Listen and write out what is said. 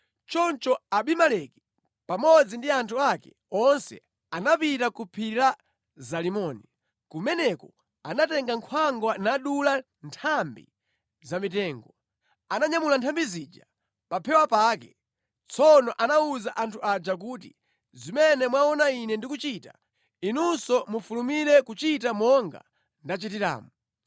Choncho Abimeleki pamodzi ndi anthu ake onse anapita ku phiri la Zalimoni. Kumeneko anatenga nkhwangwa nadula nthambi za mitengo. Ananyamula nthambi zija pa phewa pake. Tsono anawuza anthu aja kuti, “Zimene mwaona ine ndikuchita, inunso mufulumire kuchita monga ndachitiramu.”